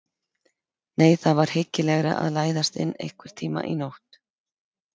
Nei, það var hyggilegra að læðast inn einhvern tíma í nótt.